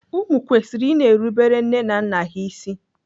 Ụmụ kwesịrị i na-erubere nne na nna ha isi.